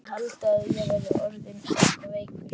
Hann mundi halda að ég væri orðinn eitthvað veikur.